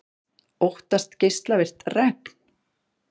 Óttast geislavirkt regn